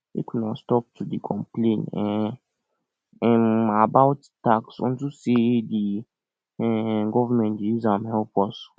make una stop to dey complain um um about tax unto say the um government dey use am help us